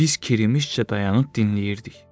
Biz kirimişcə dayanıb dinləyirdik.